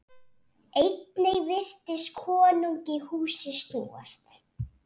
Einnig virtist konungi húsið snúast.